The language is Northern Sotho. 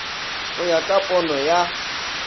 go ya ka pono ya